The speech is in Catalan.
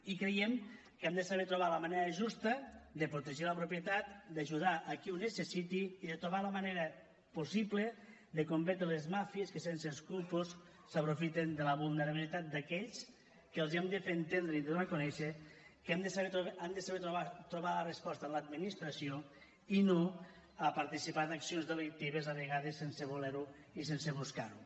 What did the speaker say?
i creiem que hem de saber trobar la manera justa de protegir la propietat d’ajudar a qui ho necessiti i de trobar la manera possible de combatre les màfies que sense escrúpols s’aprofiten de la vulnerabilitat d’aquells a qui hem de fer entendre i donar a conèixer que han de saber trobar la resposta en l’administració i no a participar d’accions delictives a vegades sense voler ho i sense buscar ho